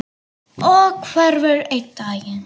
Og hverfur einn daginn.